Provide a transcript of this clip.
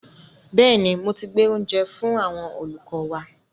Bẹ́ẹ̀ni, mo ti gbé oúnjẹ fú àwọn olùkọ́ wa.